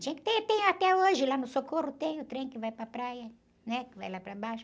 Tinha que ter, tem até hoje lá no Socorro, tem o trem que vai para a praia, né? Que vai lá para baixo.